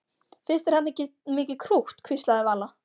Finnst þér hann ekki mikið krútt? hvíslaði Vala.